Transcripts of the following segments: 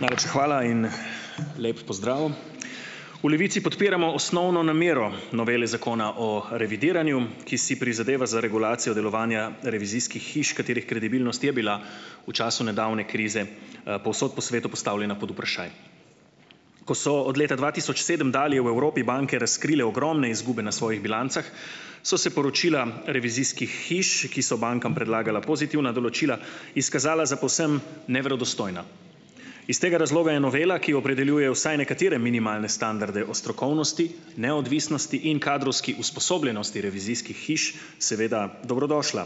Najlepša hvala in lep pozdrav. V Levici podpiramo osnovno namero novele Zakona o revidiranju, ki si prizadeva za regulacijo delovanja revizijskih hiš, katerih kredibilnost je bila v času nedavne krize, povsod po svetu postavljena pod vprašaj. Ko so od leta dva tisoč sedem dalje v Evropi banke razkrile ogromne izgube na svojih bilancah, so se poročila revizijskih hiš, ki so bankam predlagala pozitivna določila, izkazala za povsem neverodostojna. Iz tega razloga je novela, ki opredeljuje vsaj nekatere minimalne standarde o strokovnosti, neodvisnosti in kadrovski usposobljenosti revizijskih hiš seveda dobrodošla.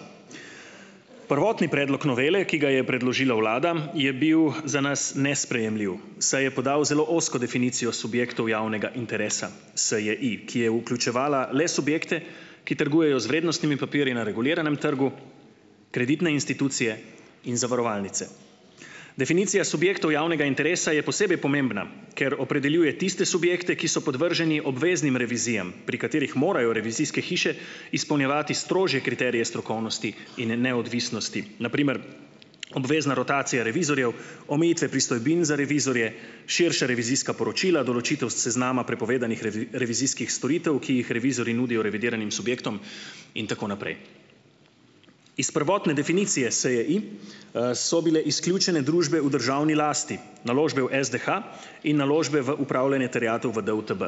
Prvotni predlog novele, ki ga je predložila vlada, je bil za nas nesprejemljiv, saj je podal zelo ozko definicijo subjektov javnega interesa, SJI, ki je vključevala le subjekte, ki trgujejo z vrednostnimi papirji na reguliranem trgu, kreditne institucije in zavarovalnice. Definicija subjektov javnega interesa je posebej pomembna, ker opredeljuje tiste subjekte, ki so podvrženi obveznim revizijam, pri katerih morajo revizijske hiše izpolnjevati strožje kriterije strokovnosti in neodvisnosti, na primer obvezna rotacija revizorjev, omejitve pristojbin za revizorje, širša revizijska poročila, določitev seznama prepovedanih revizijskih storitev, ki jih revizorji nudijo revidiranim subjektom, in tako naprej. Iz prvotne definicije SJI, so bile izključene družbe v državni lasti, naložbe v SDH in naložbe v upravljanje terjatev v DUTB.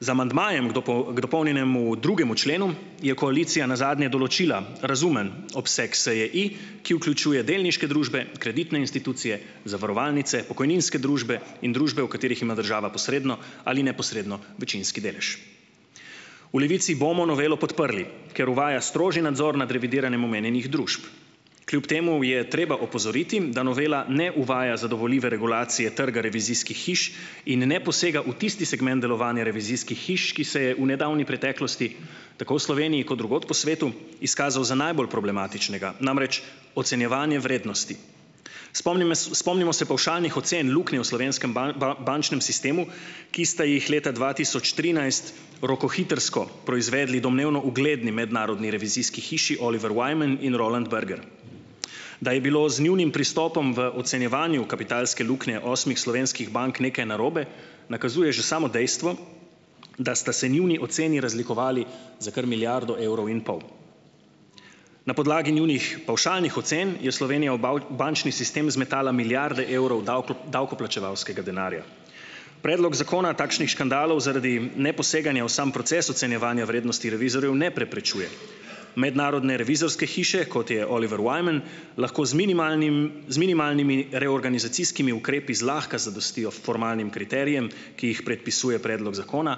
Z amandmajem k dopolnjenemu drugemu členu je koalicija nazadnje določila razumen obseg SJI, ki vključuje delniške družbe, kreditne institucije, zavarovalnice, pokojninske družbe in družbe, v katerih ima država posredno ali neposredno večinski delež. V Levici bomo novelo podprli, ker uvaja strožji nadzor nad revidiranjem omenjenih družb, kljub temu je treba opozoriti, da novela ne uvaja zadovoljive regulacije trga revizijskih hiš in ne posega v tisti segment delovanja revizijskih hiš, ki se je v nedavni preteklosti tako v Sloveniji kot drugod po svetu izkazal za najbolj problematičnega, namreč ocenjevanje vrednosti. Spomnime, spomnimo se pavšalnih ocen luknje v slovenskem bančnem sistemu, ki ste jih leta dva tisoč trinajst rokohitrsko proizvedli domnevno ugledni mednarodni revizijski hiši Oliver Wyman in Roland Berger, da je bilo z njunim pristopom v ocenjevanju kapitalske luknje osmih slovenskih bank nekaj narobe, nakazuje že samo dejstvo, da sta se njuni oceni razlikovali za kar milijardo evrov in pol. Na podlagi njunih pavšalnih ocen je Slovenija v bančni sistem zmetala milijarde evrov davkoplačevalskega denarja. Predlog zakona takšnih škandalov zaradi neposeganja v sam proces ocenjevanja vrednosti revizorjev ne preprečuje. Mednarodne revizorske hiše kot je Oliver Wyman lahko z minimalnim z minimalnimi reorganizacijskimi ukrepi zlahka zadostijo formalnim kriterijem, ki jih predpisuje predlog zakona,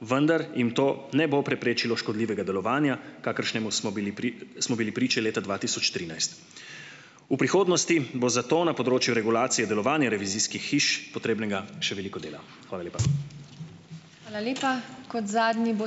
vendar jim to ne bo preprečilo škodljivega delovanja, kakršnemu smo bili pri smo bili priče leta dva tisoč trinajst. V prihodnosti bo zato na področju regulacije delovanja revizijskih hiš potrebnega še veliko dela. Hvala lepa.